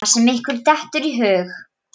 Það sem ykkur dettur í hug!